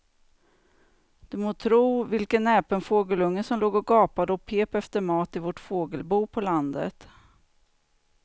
Du må tro vilken näpen fågelunge som låg och gapade och pep efter mat i vårt fågelbo på landet.